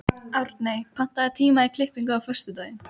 Árney, pantaðu tíma í klippingu á föstudaginn.